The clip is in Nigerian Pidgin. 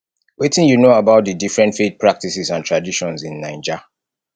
wetin you know about di different faith practices and traditions in naija